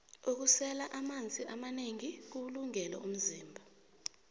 ukusela amanzi amanengi kuwulungele umzimba